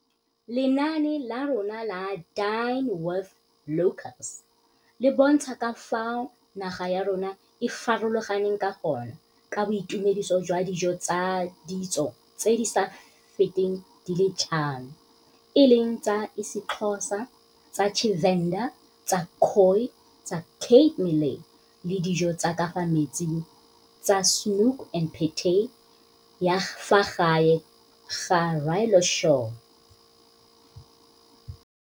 Lenaane la rona la Dine with Locals le bontsha ka fao naga ya rona e farologaneng ka gone, ka boitumediso jwa dijo tsa ditso tse di sa feteng di le tlhano, e leng tsa isiXho sa, tsa Tshivenḓa, tsa Khoi, tsa Cape Malay le dijo tsa ka fa metsing tsa 'Snoek en Patat' ya fa gae, ga rialo Shaw.